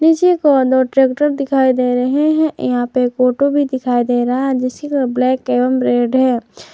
पीछे corner tractor भी दिखाई दे रहे हैं यहां एक ऑटो भी दिखाई दे रहा है जिसकी कलर ब्लैक एंड रेड है।